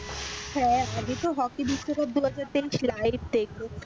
হ্যাঁ আমি তো হকি বিশ্বকাপ দুহাজার তেইশ live দেখবো,